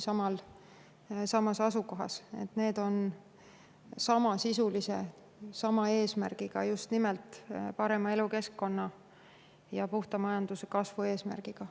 Need mõlemad asjad on samasisulised, sama eesmärgiga, just nimelt eesmärgiga luua parem elukeskkond ja puhta majanduse kasv.